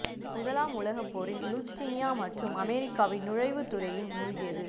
முதலாம் உலகப் போரில் லுச்டீனியா மற்றும் அமெரிக்காவின் நுழைவுத் துறையின் மூழ்கியது